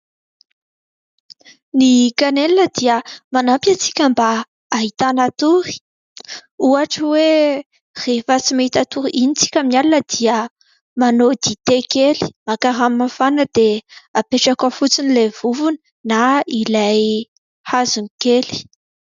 Ny "canelle" dia manampy antsika mba hahitana tory. Ohatra hoe rehefa tsy mahita tory iny isika amin'ny alina dia manao dite kely, maka rano mafana dia apetraka ao fotsiny ilay vovony na ilay hazo kely.